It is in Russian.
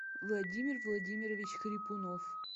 владимир владимирович хрипунов